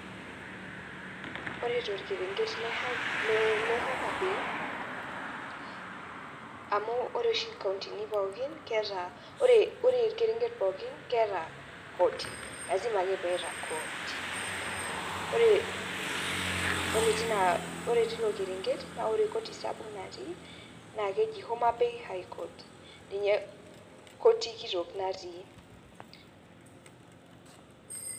Ore torkerenket le homabay amu ore oshi nkauntini pookin keeta ore orkerenket pookin keeta koti, ore tina tilo kerenket na keeta koti natii nakeji homabay high court koti kitok natii.